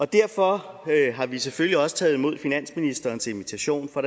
derfor har vi selvfølgelig også taget imod finansministerens invitation for